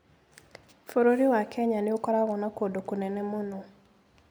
Bũrũri wa Kenya nĩ ũkoragwo na kũndũ kũnene mũno.